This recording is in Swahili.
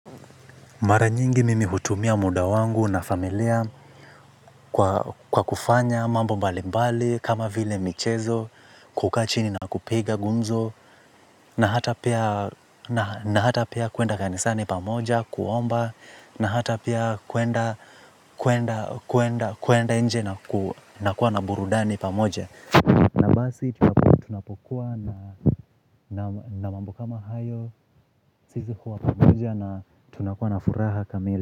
Mara nyingi mimi hutumia muda wangu na familia kwa kufanya mambo mbali mbali kama vile michezo kukaa chini na kupiga gumzo. Na hata pia kuenda kanisani pamoja kuomba na hata pia kuenda kuenda nje na kuwa na burudani pamoja. Na basi tunapokuwa na mambo kama hayo sisi huwa pamoja na tunakuwa na furaha kamili.